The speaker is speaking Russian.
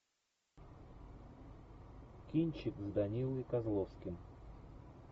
кинчик с данилой козловским